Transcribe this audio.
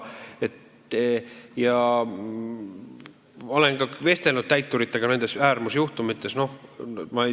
Ma olen ka vestelnud täituritega, kes nende äärmuslike juhtumitega seotud on olnud.